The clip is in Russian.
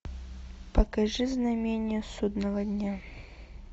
покажи знамение судного дня